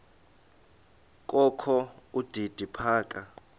kokho udidi phaka